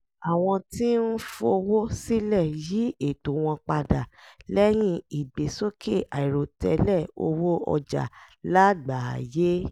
àwọn tí ń fowó sílẹ̀ yí ètò wọn padà lẹ́yìn ìgbésókè àìròtẹ́lẹ̀ owó ọjà lágbàáyé